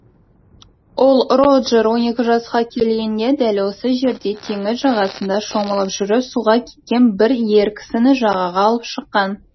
ол роджер он екі жасқа келгенде дәл осы жерде теңіз жағасында шомылып жүріп суға кеткен бір ер кісіні жағаға алып шыққан